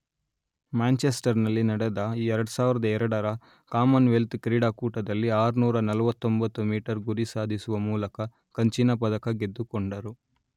Manchester ನಲ್ಲಿ ನಡೆದ ಎರಡು ಸಾವಿರದ ಎರಡರ ಕಾಮನ್ ವೆಲ್ತ್ ಕ್ರೀಡಾಕೂಟದಲ್ಲಿ ಆರ್ನೂರ ನಲ್ವತ್ತೊಂಬತ್ತು ಮೀಟರ್ ಗುರಿ ಸಾಧಿಸುವ ಮೂಲಕ ಕಂಚಿನ ಪದಕ ಗೆದ್ದುಕೊಂಡರು